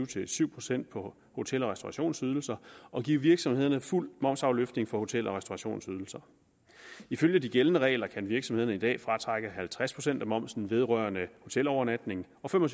til syv procent på hotel og restaurationsydelser og give virksomhederne fuld momsafløftning for hotel og restaurationsydelser ifølge de gældende regler kan virksomhederne i dag fratrække halvtreds procent af momsen vedrørende hotelovernatning og fem og